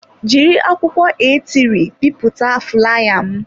Jiri akwụkwọ aetịrị bipụta fulaya m.